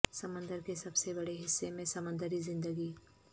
سمندر کے سب سے بڑے حصے میں سمندری زندگی